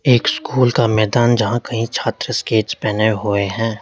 एक स्कूल का मैदान जहां कई छात्र स्केट्स पहने हुए हैं।